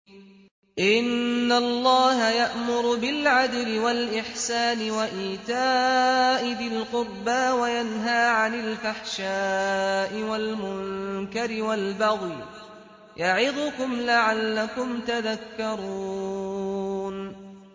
۞ إِنَّ اللَّهَ يَأْمُرُ بِالْعَدْلِ وَالْإِحْسَانِ وَإِيتَاءِ ذِي الْقُرْبَىٰ وَيَنْهَىٰ عَنِ الْفَحْشَاءِ وَالْمُنكَرِ وَالْبَغْيِ ۚ يَعِظُكُمْ لَعَلَّكُمْ تَذَكَّرُونَ